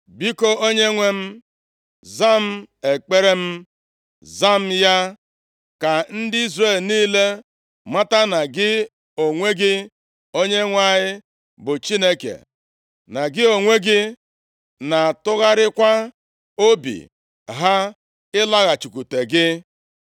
Biko, Onyenwe anyị m, zaa m ekpere m, zaa m ya, ka ndị Izrel niile mata na gị onwe gị, Onyenwe anyị bụ Chineke, na gị onwe gị na-atụgharịkwa obi ha ịlaghachikwute gị.”